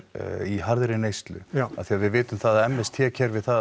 í harðri neyslu af því að við vitum það að m s t kerfið það